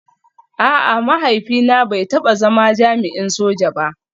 A'a, mahaifina bai taba zama jami'in soja ba